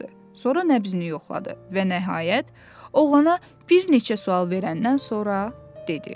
Sonra nəbzini yoxladı və nəhayət, oğlana bir neçə sual verəndən sonra dedi.